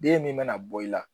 Den min mana bɔ i la